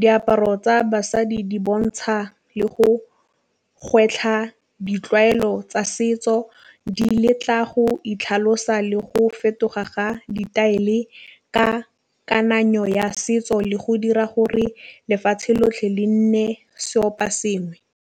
diaparo tsa basadi di bontšha le go gwetlha ditlwaelo tsa setso di letla go itlhalosa le go fetoga ga ka kananyo ya setso le go dira gore lefatšhe lotlhe le nne seopo sengwe.